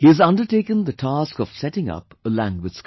He has undertaken the task of setting up a language school